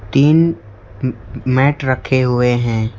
तीन मैट रखे हुए हैं।